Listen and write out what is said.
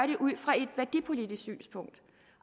den ud fra et værdipolitisk synspunkt